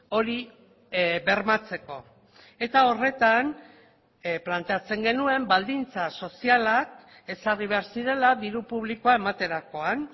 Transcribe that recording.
hori bermatzeko eta horretan planteatzen genuen baldintza sozialak ezarri behar zirela diru publikoa ematerakoan